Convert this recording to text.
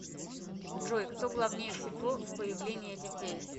джой кто главнее всего в появлении детей